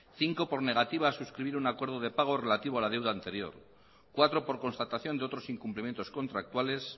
cinco por negativa a suscribir un acuerdo de pago relativo a la deuda anterior cuatro por constatación de otros incumplimientos contractuales